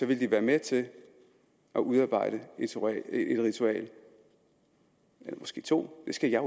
ville de være med til at udarbejde et ritual eller måske to det skal jeg